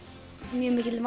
mjög mikill